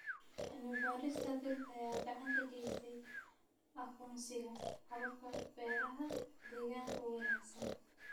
Cilmi-baarista dhirta ayaa gacan ka geysata aqoonsiga hababka beeraha deegaanka u wanaagsan.